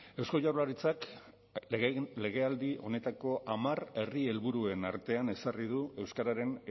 eusko jaurlaritzak legealdi honetako hamar herri helburuen artean ezarri du euskararen